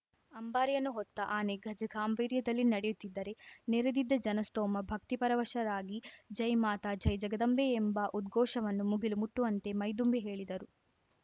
ಅಂಬಾರಿಯನ್ನು ಹೊತ್ತ ಆನೆ ಗಜ ಗಾಂಭೀರ್ಯದಲ್ಲಿ ನಡೆಯುತ್ತಿದ್ದರೆ ನೆರೆದಿದ್ದ ಜನಸ್ತೋಮ ಭಕ್ತಿ ಪರವಶರಾಗಿ ಜೈ ಮಾತ ಜೈ ಜಗದಾಂಬೆ ಎಂಬ ಉದ್ಘೋಷವನ್ನು ಮುಗಿಲು ಮುಟ್ಟುವಂತೆ ಮೈದುಂಬಿ ಹೇಳಿದರು